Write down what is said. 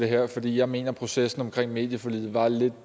her fordi jeg mener at processen omkring medieforliget var lidt